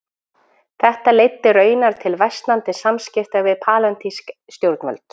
Þetta leiddi raunar til versnandi samskipta við palestínsk stjórnvöld.